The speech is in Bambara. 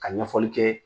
Ka ɲɛfɔli kɛ